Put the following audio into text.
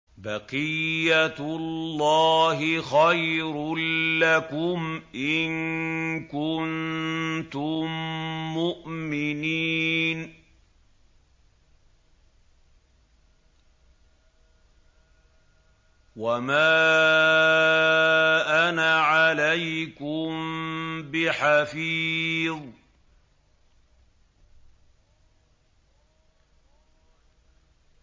بَقِيَّتُ اللَّهِ خَيْرٌ لَّكُمْ إِن كُنتُم مُّؤْمِنِينَ ۚ وَمَا أَنَا عَلَيْكُم بِحَفِيظٍ